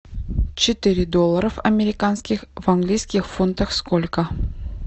четыре долларов американских в английских фунтах сколько